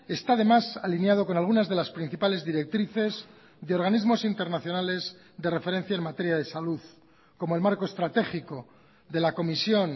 está además alineado con algunas de las principales directrices de organismos internacionales de referencia en materia de salud como el marco estratégico de la comisión